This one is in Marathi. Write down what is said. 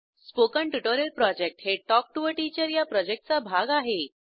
स्पोकन ट्युटोरियल प्रॉजेक्ट हे टॉक टू टीचर या प्रॉजेक्टचा भाग आहे